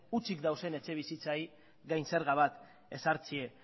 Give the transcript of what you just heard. hutsik dauden etxebizitzen gain zerga bat ezartzea